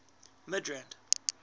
midrand